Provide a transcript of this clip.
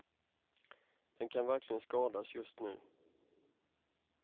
Den kan verkligen skadas just nu.